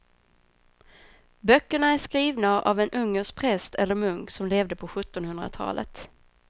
Böckerna är skrivna av en ungersk präst eller munk som levde på sjuttonhundratalet.